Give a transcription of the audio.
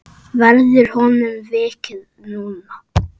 Verður honum vikið núna?